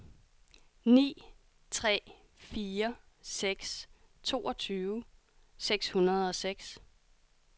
ni tre fire seks toogtyve seks hundrede og seks